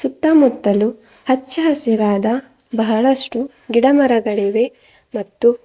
ಸುತ್ತಮುತ್ತಲೂ ಹಚ್ಚಹಸಿರಾದ ಬಹಳಷ್ಟು ಗಿಡಮರಗಳಿವೆ ಮತ್ತು.